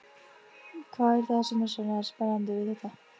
Hvað er það sem er svona spennandi við þetta?